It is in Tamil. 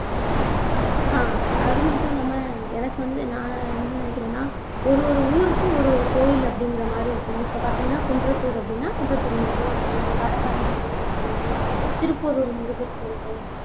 ஆஹ் அது மட்டும் இல்லாம எனக்கு வந்து நான் என்ன நினைக்கிறேன்னா ஒரு ஒரு ஊருக்கு ஒரு ஒரு கோயில் அப்படிங்கிற மாதிரி இருக்கும் பாத்தீங்கன்னா குன்றத்தூர் அப்படின்னா குன்றத்தூர் முருகர் கோயில் வடபழனி முருகர் கோயிலு திருப்போரூர் முருகர் கோயிலு